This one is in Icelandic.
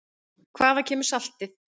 Hvaðan kemur saltið?